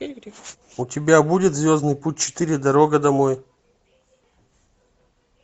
у тебя будет звездный путь четыре дорога домой